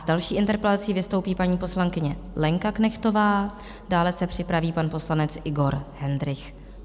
S další interpelací vystoupí paní poslankyně Lenka Knechtová, dále se připraví pan poslanec Igor Hendrych.